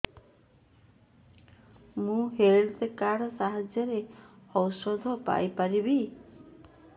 ମୁଁ health card ସାହାଯ୍ୟରେ ଔଷଧ ପାଇ ପାରିବି